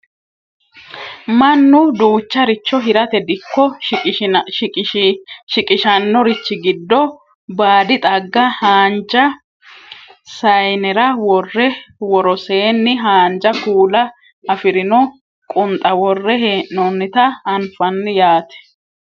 mannu duucharicho hirate dikko shiqishannorichi giddo baadi xagga haanja sayiinera worre woroseenni haanja kuula afirino qunxa worre hee'noonnita anfanni yaate